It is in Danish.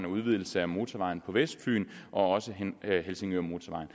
udvidelsen af motorvejen på vestfyn og helsingørmotorvejen